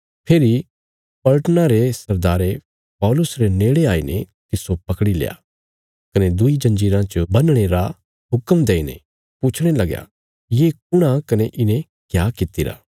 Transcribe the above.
फेरी पलटना रे सरदारे पौलुस रे नेड़े आईने तिस्सो पकड़ील्या कने दुईं जंजीराँ च बन्हणे रा हुक्म देईने पुछणे लगया ये कुण आ कने इने क्या कित्तिरा